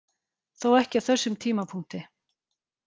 Þó ekki á þessum tímapunkti.